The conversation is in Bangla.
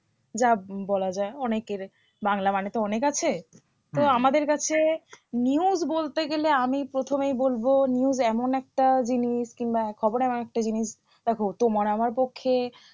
যা বলা যায় অনেকের বাংলা মানে তো অনেক আছে তো আমাদের কাছে news বলতে গেলে আমি প্রথমেই বলবো news এমন একটা জিনিস কিংবা খবর এমন একটা জিনিস দেখো তোমার আমার পক্ষে